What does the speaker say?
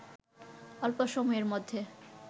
অল্প সময়ের মধ্যেই